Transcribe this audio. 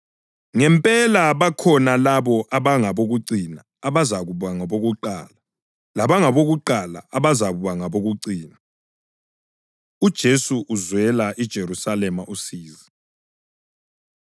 Ngempela bakhona labo abangabokucina abazakuba ngabokuqala, labangabokuqala abazakuba ngabokucina.” UJesu Uzwela IJerusalema Usizi